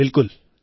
બિલકુલ